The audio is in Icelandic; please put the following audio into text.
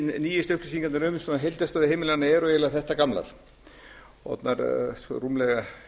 nýjustu upplýsingarnar um heildarstöðu heimilanna eru eiginlega þetta gamlar orðnar rúmlega